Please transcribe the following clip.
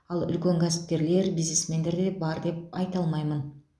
ал үлкен кәсіпкерлер бизнесмендер бар деп айта алмаймын